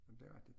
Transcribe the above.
Det rigtigt